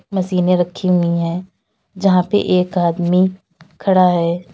मशीनें रखी हुई हैं जहां पे एक आदमी खड़ा है।